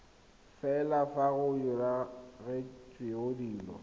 fela fa go diragaditswe dilo